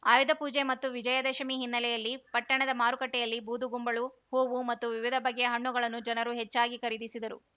ಆಯುಧಪೂಜೆ ಮತ್ತು ವಿಜಯದಶಮಿ ಹಿನ್ನೆಲೆಯಲ್ಲಿ ಪಟ್ಟಣದ ಮಾರುಕಟ್ಟೆಯಲ್ಲಿ ಬೂದುಗುಂಬಳು ಹೂವು ಮತ್ತು ವಿವಿಧ ಬಗೆಯ ಹಣ್ಣುಗಳನ್ನು ಜನರು ಹೆಚ್ಚಾಗಿ ಖರೀದಿಸಿದರು